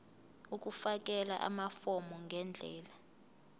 ukufakela amafomu ngendlela